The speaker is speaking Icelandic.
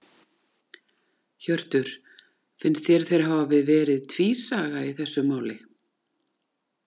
Hjörtur: Finnst þér þeir hafi verið tvísaga í þessu máli?